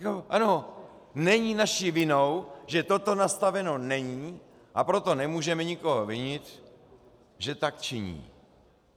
Ano, není naší vinou, že toto nastaveno není, a proto nemůžeme nikoho vinit, že tak činí.